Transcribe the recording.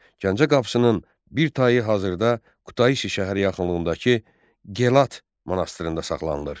Gəncə qapısının bir tayı hazırda Qutaisi şəhər yaxınlığındakı Gelat monastırında saxlanılır.